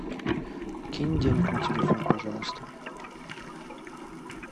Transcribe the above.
кинь денег на телефон пожалуйста